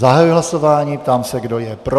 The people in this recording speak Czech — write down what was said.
Zahajuji hlasování, ptám se, kdo je pro.